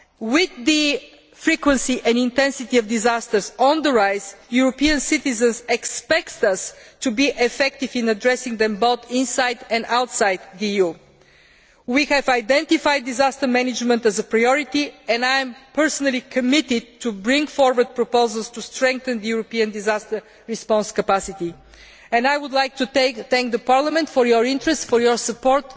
With the frequency and intensity of disasters on the rise, European citizens expect us to be effective in addressing them both inside and outside the EU. We have identified disaster management as a priority, and I am personally committed to bringing forward proposals to strengthen the European disaster response capacity. I would like to thank Parliament for its interest and support.